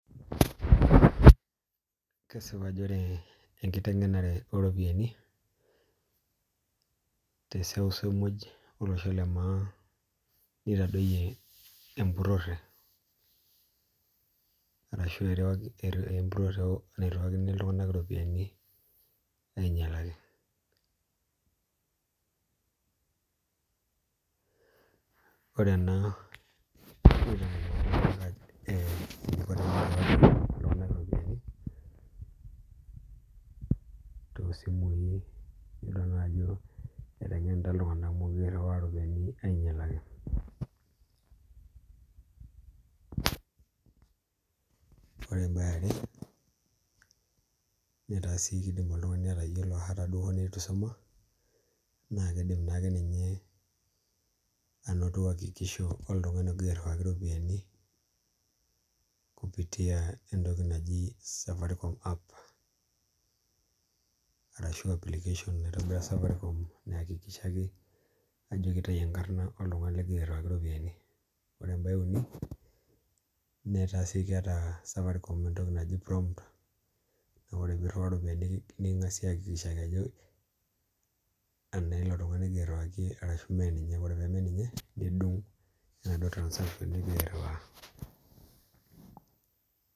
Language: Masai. Kesipa ajo ore enkiteng'enare oropiani teseuseu muj olosho le maa nitadoyie emburhore arashu emburhore nairhiwakini iltunganak iropiani nainyalaki Ore ena..iltung'anak iropiani toosimui iyolo naa ajo eteng'enita iltunganak mukure irhiwaa iropiani ainyalaki Ore em'bae eare etaa sii kidim oltung'ani atayiolo ata hoo duo neitu isuma naa kiidim naake ninye anoto hakikisho oltung'ani ogira airhiwaki iropiani kupitia entoki naji Safaricom app ashu aapplication naitobira Safaricom neakikisha ajo kitayu enkarna oltung'ani ligira airhiwaki iropiani Ore em'bae euni nitoki sii ataa Safaricom entoki naji promt naa ore piirhiwaa iropiani neking'asi ajo enaa ilo tungani igira airhiwaki iropiani anaa meeninye ore pemeninye nidung' enaduo transaction nigira airhiwaa